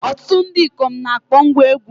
Ọtụtụ ndị ikom na-akpọ ngwá egwú.